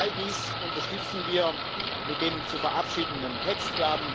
All dies unterstützen wir mit dem zu verabschiedenden Text.